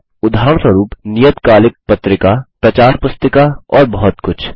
उदाहरणस्वरुप नियतकालिक पत्रिका प्रचार पुस्तिका और बहुत कुछ